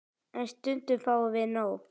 En stundum fáum við nóg.